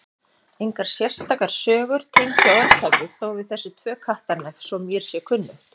Engar sérstakar sögur tengja orðtakið þó við þessi tvö Kattarnef svo mér sé kunnugt.